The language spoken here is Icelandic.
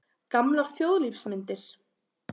Gamlar þjóðlífsmyndir.